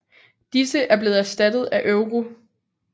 Disse er blevet erstattet af euro